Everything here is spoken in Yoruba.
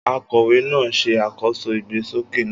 Akọ̀wé náà ń ṣe àkóso ìgbésókè náà.